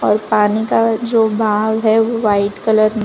और पानी का जो बहाव है वो व्हाइट कलर में--